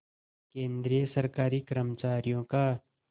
केंद्रीय सरकारी कर्मचारियों का